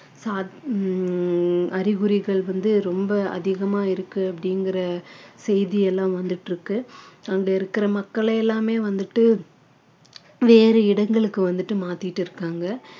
உம் அறிகுறிகள் வந்து ரொம்ப அதிகமா இருக்கு அப்படிங்கிற செய்தி எல்லாம் வந்துட்டு இருக்கு அங்க இருக்கிற மக்களை எல்லாமே வந்துட்டு வேறு இடங்களுக்கு வந்துட்டு மாத்திட்டு இருக்காங்க